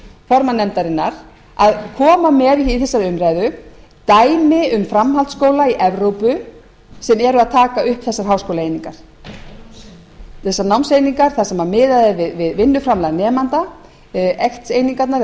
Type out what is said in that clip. formann nefndarinnar að koma með í þessari umræðu dæmi um framhaldsskóla í evrópu sem eru að taka upp þessar háskólaeiningar þessar námseiningar þar sem miðað er við vinnuframlag nemanda tíu einingarnar eða hvað þær